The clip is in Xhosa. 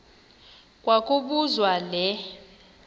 kwa kobuzwa le